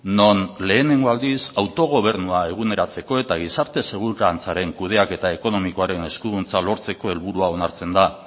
non lehenengo aldiz autogobernua eguneratzeko eta gizarte segurantzaren kudeaketa ekonomikoaren eskuduntza lortzeko helburua onartzen da